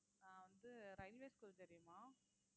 நான் வந்து railway school தெரியுமா